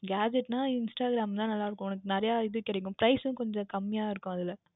Gatgets என்றால் Instagram வில் தான் நன்றாக இருக்கும் உனக்கு நிறைய இது கிடைக்கும் கொஞ்சம் Price உம் கம்மியாக இருக்கும் அதில்